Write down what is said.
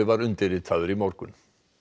var undirritaður í morgun